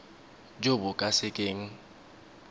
jo bo ka se keng